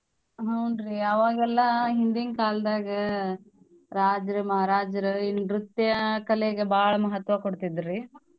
ಹ್ಮ್ ನ್ರೀ ಅವಾಗೆಲ್ಲಾ ಹಿಂದಿನ್ ಕಾಲ್ದಾಗ ರಾಜ್ರು ಮಾರಾಜ್ರು ನೃತ್ಯಾ ಕಲೆಗ್ ಬಾಳ್ ಮಹತ್ವ ಕೊಡ್ತಿದ್ರೀ.